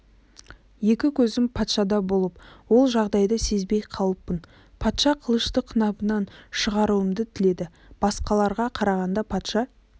екі көзім патшада болып ол жағдайды сезбей қалыппын патша қылышты қынабынан шығаруымды тіледі басқаларға қарағанда патша